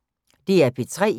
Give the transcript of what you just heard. DR P3